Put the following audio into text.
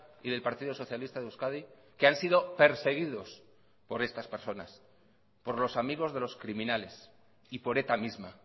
y del partido socialista de euskadi que han sido perseguidos por estas personas por los amigos de los criminales y por eta misma